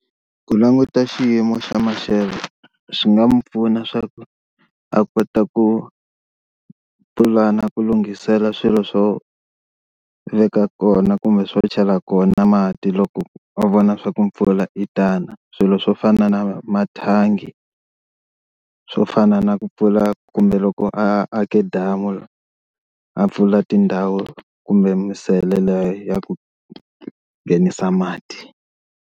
Ku languta xiyimo xa maxelo swi nga mi pfuna swa ku a kota ku pulana ku lunghisela swilo swo veka kona kumbe swo chela kona mati loko a vona swa ku mpfula i yitana, swilo swo fana na mathangi swo fana na ku pfula kumbe loko a ake damu a pfula tindhawu kumbe misele leyi ya ku nghenisa mati.